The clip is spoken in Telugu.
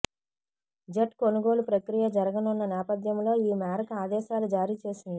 జెట్ కొనుగోలు ప్రక్రియ జరగనున్న నేపథ్యంలో ఈ మేరకు ఆదేశాలు జారీ చేసింది